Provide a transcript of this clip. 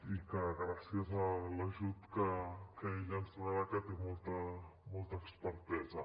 i que gràcies a l’ajut que ella ens donarà que té molta expertesa